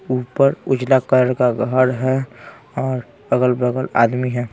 ऊपर उजला कलर का घर हैं और अगल-बगल आदमी हैं।